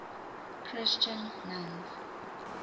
christian nuns